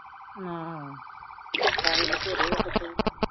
ਪੈਸੇ ਬਥੇਰੇ ਆ ਉਸ ਕੋਲ